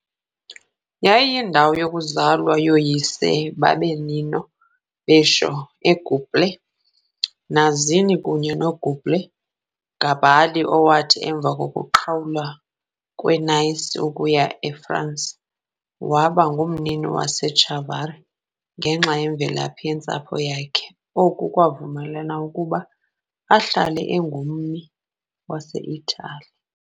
Yayiyindawo yokuzalwa yooyise bakaNino Bixio, uGiuseppe Mazzini kunye noGiuseppe Garibaldi, owathi, emva kokuqhawulwa kweNice ukuya eFransi, waba ngummi waseChiavari ngenxa yemvelaphi yentsapho yakhe, oku kwamvumela ukuba ahlale engummi waseItali.